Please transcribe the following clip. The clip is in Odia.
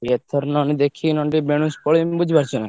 ଏଥର ନହେନେ ଦେଖିକି ନହେଲେ ଟିକେ ବେଣୁସୁ ପଳେଇମି ବୁଝିପାରୁଛ ନା।